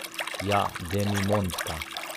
Ja, demimondka.